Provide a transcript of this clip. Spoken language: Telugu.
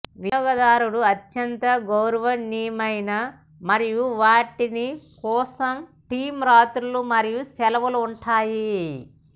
వినియోగదారుడు అత్యంత గౌరవనీయమైన మరియు వాటిని కోసం థీమ్ రాత్రులు మరియు సెలవులు ఉంటాయి